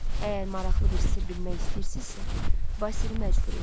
Əgər maraqlı bir sirr bilmək istəyirsinizsə, Basili məcbur eləyin.